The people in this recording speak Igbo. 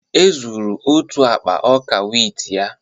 E zuru otu akpa ọka wit ya